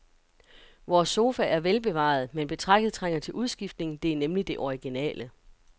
Vores sofa er velbevaret, men betrækket trænger til udskiftning, det er nemlig det originale.